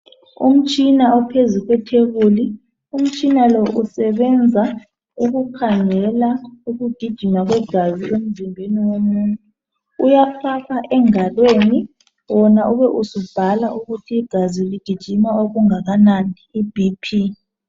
Umtshina ophuzu kwethebuli. Umtshina lo usebenza ukukhangela ukugijima kwegazi emzimbeni yomuntu. Uyafaka engalweni wona ube usubhala ukuthi igazi ligijima okungakanani i 'BP'.